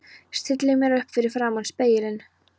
Stilli mér upp fyrir framan spegilinn.